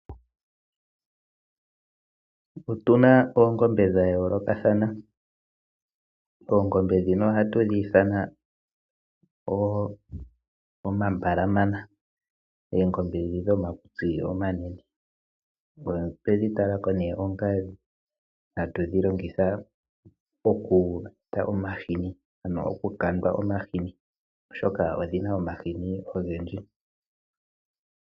Otuna oongombe dhayoolokathana oongombe dhino ohatu dhi itha omambalamana oongombe dhi dhomakutsi omanene. Otwedhi talako ne onga hatudhilongitha mokukandwa omashini oshoka odhina omashini ogendji.